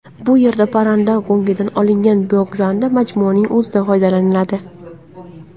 Bu yerda parranda go‘ngidan olingan biogazdan majmuaning o‘zida foydalaniladi.